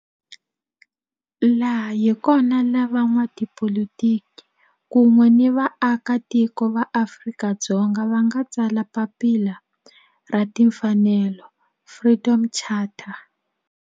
Laha hi kona la van'watipolitiki kun'we ni vaaka tiko va Afrika-Dzonga va nga tsala papila ra timfanelo, Freedom Charter.